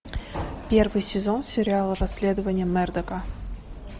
первый сезон сериала расследование мердока